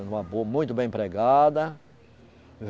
Tem uma boa, muito bem empregada.